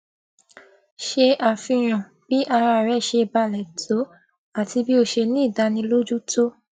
ṣe àfihàn bí ara rè ṣe balè tó àti bí ó ṣe ní ìdánilójú tó